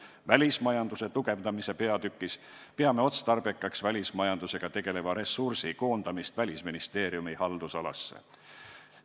Välismajanduse tugevdamise eesmärgiga peame otstarbekaks välismajandusega tegeleva ressursi koondamist Välisministeeriumi haldusalasse.